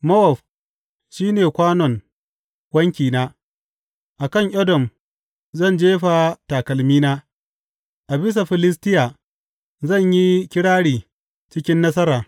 Mowab shi ne kwanon wankina, a kan Edom zan jefa takalmina; a bisa Filistiya zan yi kirari cikin nasara.